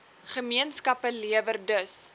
gemeenskappe lewer dus